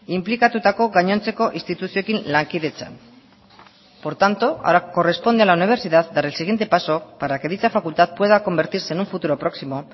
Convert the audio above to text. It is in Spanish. inplikatutako gainontzeko instituzioekin lankidetzan por tanto ahora corresponde a la universidad dar el siguiente paso para que dicha facultad pueda convertirse en un futuro próximo